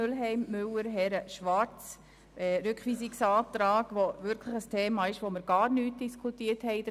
Mühlheim/Müller/ Herren/Schwarz: Dieser betrifft ein Thema, welches wir in der Kommission überhaupt nicht diskutiert haben.